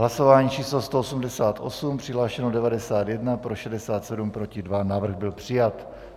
Hlasování číslo 188, přihlášeno 91, pro 67, proti 2, návrh byl přijat.